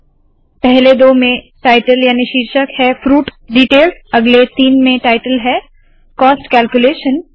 पहले दो में टायटल याने के शीर्षक है फ्रूट डीटेल्स अगले तीन में टायटल है कॉस्ट कैल्क्यूलेशन